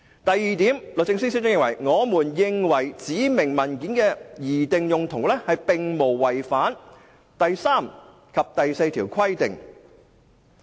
第二，律政司司長認為，"指明文件的擬定用途並無違反第3及第4條的規定。